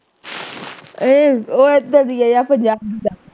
ਇਹ ਉਹ ਏਧਰ ਦੀ ਆ ਯਾਰ ਪੰਜਾਬ ਦੀ ਆ